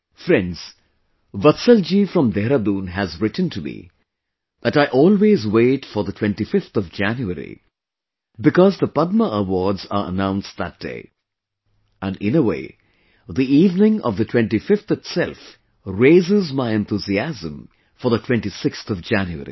Friends, Vatsal ji from Dehradun has written to me that I always wait for the 25th of January because the Padma Awards are announced that day; and in a way, the evening of the 25thitself raises my enthusiasm for the 26thJanuary